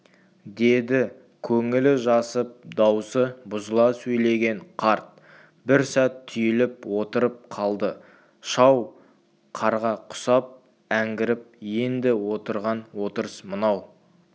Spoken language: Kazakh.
деді көңілі жасып даусы бұзыла сөйлеген қарт бір сәт түйіліп отырып қалды шау қарға құсап әңгіріп енді отырған отырыс мынау